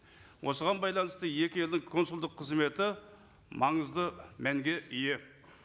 осыған байланысты екі елдің консулдық қызметі маңызды мәнге ие